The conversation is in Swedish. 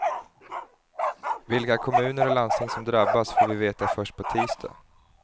Vilka kommuner och landsting som drabbas får vi veta först på tisdag.